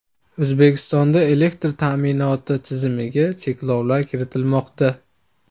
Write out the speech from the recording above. O‘zbekistonda elektr ta’minoti tizimiga cheklovlar kiritilmoqda.